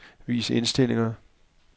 Vis indstillinger.